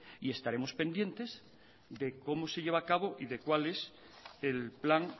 y estaremos pendientes de cómo se lleva a cabo y de cuál es el plan